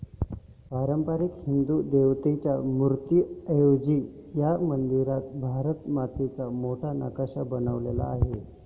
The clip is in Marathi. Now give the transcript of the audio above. पारंपारिक हिंदू देवदेवतांच्या मूर्तीऐवजी ह्या मंदिरात भारत मातेचा मोठा नकाशा बनवलेला आहे.